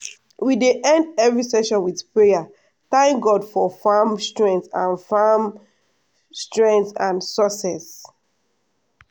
we dey end every season with prayer thank god for farm strength and farm strength and success.